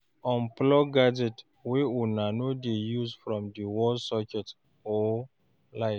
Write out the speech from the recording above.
Unplug gadgets wey una no dey use from di wall socket or light